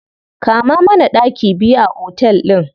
Kama mana ɗaki biyu a otel ɗin.